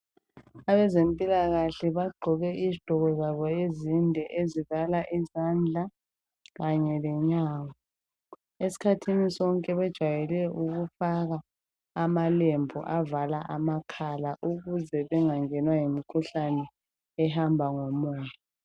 Abezempilakahle bagqoke izigqoko zabo ezinde ezivala izandla kanye lenyawo. Esikhathini sonke bajwayele ukufaka amalembu avala amakhala ukuze bengangenwa yimikhuhlane ehamba ngomoya.